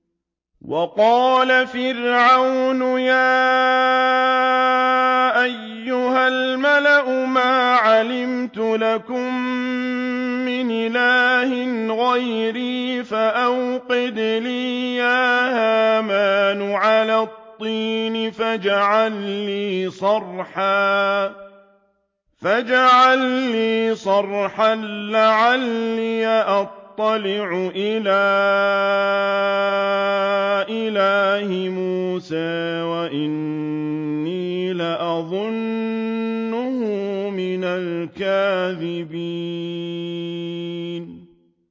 وَقَالَ فِرْعَوْنُ يَا أَيُّهَا الْمَلَأُ مَا عَلِمْتُ لَكُم مِّنْ إِلَٰهٍ غَيْرِي فَأَوْقِدْ لِي يَا هَامَانُ عَلَى الطِّينِ فَاجْعَل لِّي صَرْحًا لَّعَلِّي أَطَّلِعُ إِلَىٰ إِلَٰهِ مُوسَىٰ وَإِنِّي لَأَظُنُّهُ مِنَ الْكَاذِبِينَ